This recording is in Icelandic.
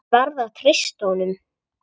Ég verð að treysta honum.